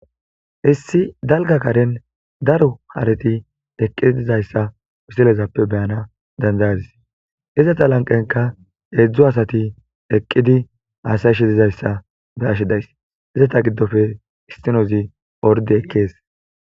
Issi dalga karen daro hareti eqqidi dizayssa wisilezappe beyana dandayadis izata lanqenka eedzdzu asati eqqidi haasayishi dizayssa be ashi days izata giddofe istinozi orde ekkees.